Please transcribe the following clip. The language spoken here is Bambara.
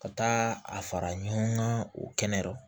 Ka taa a fara ɲɔgɔn ka o kɛnɛ